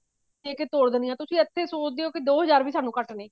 ਦੇਕੇ ਤੋਰ ਦਿੰਨੇ ਹੋ ਇੱਥੇ ਸੋਚਦੇ ਹੋ ਕੇ ਸਾਨੂੰ ਦੋ ਹਜ਼ਾਰ ਵੀ ਘੱਟ ਨੇ